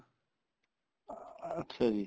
ਅੱਛਾ ਜੀ